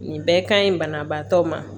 Nin bɛɛ ka ɲi banabaatɔ ma